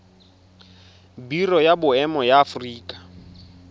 biro ya boemo ya aforika